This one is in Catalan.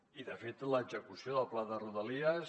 i de fet l’execució del pla de rodalies